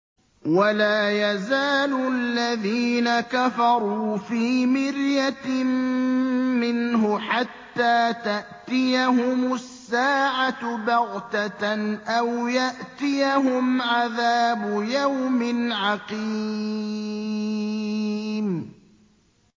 وَلَا يَزَالُ الَّذِينَ كَفَرُوا فِي مِرْيَةٍ مِّنْهُ حَتَّىٰ تَأْتِيَهُمُ السَّاعَةُ بَغْتَةً أَوْ يَأْتِيَهُمْ عَذَابُ يَوْمٍ عَقِيمٍ